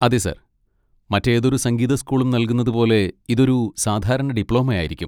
അതെ, സർ, മറ്റേതൊരു സംഗീത സ്കൂളും നൽകുന്നതുപോലെ ഇതൊരു സാധാരണ ഡിപ്ലോമ ആയിരിക്കും.